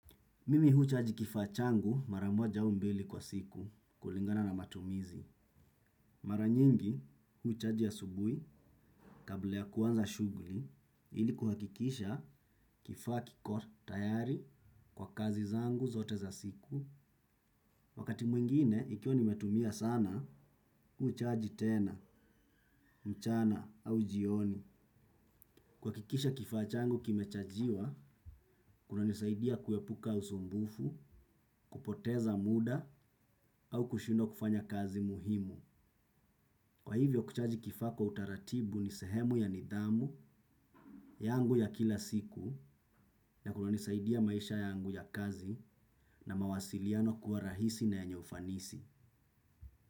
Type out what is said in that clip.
Mimi huchaji kifaa changu mara moja au mbili kwa siku kulingana na matumizi. Maranyingi huchaji asubui kabla ya kuanza shughuli ili kuhakikisha kifaa kiko tayari kwa kazi zangu zote za siku. Wakati mwingine ikiwa nimetumia sana huchaji tena, mchana au jioni. Kuhakikisha kifaa changu kimechajiwa, kuna nisaidia kuepuka usumbufu, kupoteza muda au kushindwa kufanya kazi muhimu. Kwa hivyo kuchaji kifaa kwa utaratibu ni sehemu ya nidhamu yangu ya kila siku na kunisaidia maisha yangu ya kazi na mawasiliano kuwa rahisi na yenye ufanisi.